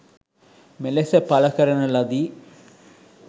මෙලෙස පල කරන ලදි.